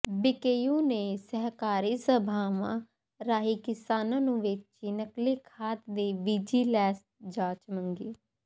BKU ਨੇ ਸਹਿਕਾਰੀ ਸਭਾਵਾਂ ਰਾਹੀਂ ਕਿਸਾਨਾਂ ਨੂੰ ਵੇਚੀ ਨਕਲੀ ਖਾਦ ਦੀ ਵਿਜੀਲੈਂਸ ਜਾਂਚ ਮੰਗੀ